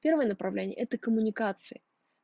первое направление это коммуникации